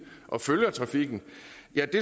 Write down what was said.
og følger trafikken